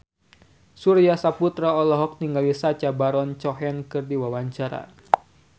Surya Saputra olohok ningali Sacha Baron Cohen keur diwawancara